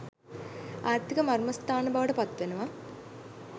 ආර්ථික මර්මස්ථාන බවට පත්වෙනවා.